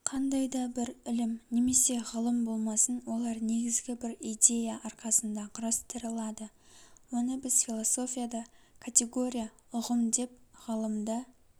қандай бір ілім немесе ғылым болмасын олар негізгі бір идея арқасында құрастырылады оны біз философияда категория ұғым деп ғылымда